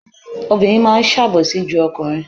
Obìnrin máa ń sàbòsí ju ọkùnrin.